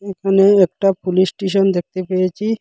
এখানে একটা police station দেখতে পেয়েছি।